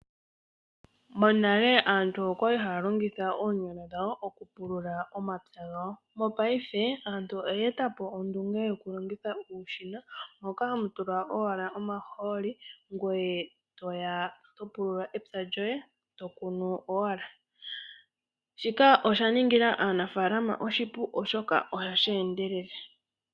Monale aantu okwali haya longitha oonyala dhawo okupulula omapya gawo . Mopaife aantu oya eta po ondunge yokulongitha uushina moka hamu tulwa owala omahooli , ngweye toya owala to pulula epya lyoye eto kunu owala . Shika osha ningila aanafalama oshipu oshoka ohashi endelele.